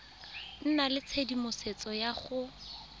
nna le tshedimosetso ya go